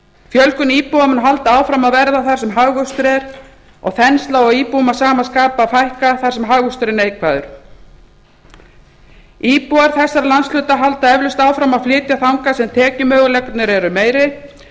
fjölgun íbúa mun halda áfram að verða það sem hagvöxtur er og þensla á íbúum að sama skapi að fækka þar sem hagvöxtur er neikvæður íbúar þessara landsvæða halda eflaust áfram að flytja þangað sem tekjumöguleikarnir eru meiri og